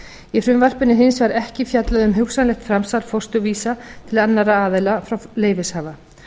í frumvarpinu er hins vegar ekki fjallað um hugsanlegt framsal fósturvísa til annarra aðila frá leyfishafa